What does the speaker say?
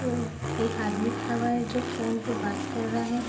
एक आदमी खड़ा हुआ है जो फोन पे बात कर रहा है।